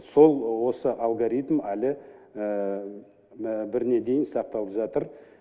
сол осы алгаритм әлі біріне дейін сақталып жатыр